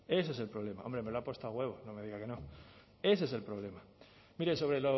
ese es el problema hombre me lo ha puesto a huevo no me diga que no ese es el problema mire sobre